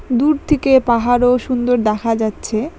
দূর থেকে পাহাড়ও সুন্দর দেখা যাচ্ছে।